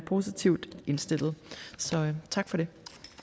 positivt indstillet tak for det